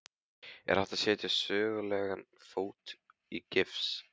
Er hægt að setja sögulegan fót í gifs?